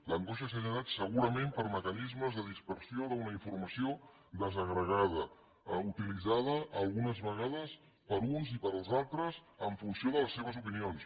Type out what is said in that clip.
l’angoixa s’ha generat segurament per mecanismes de dispersió d’una informació desagregada utilitzada algunes vegades per uns i pels altres en funció de les seves opinions